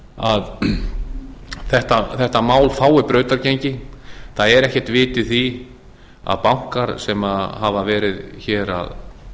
að þetta mál fái brautargengi það er ekkert vit í því að bankar sem hafa verið að